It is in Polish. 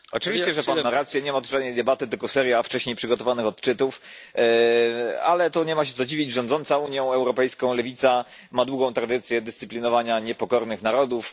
Panie Przewodniczący! Oczywiście, że Pan ma rację. Nie ma tu żadnej debaty, tylko seria wcześniej przygotowanych odczytów. Ale tu nie ma się co dziwić. Rządząca Unią Europejską lewica ma długą tradycję dyscyplinowania niepokornych narodów.